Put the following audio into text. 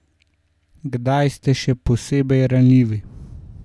Kdaj ste še posebej ranljivi?